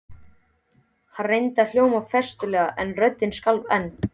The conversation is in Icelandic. Hann reyndi að hljóma festulega en röddin skalf enn.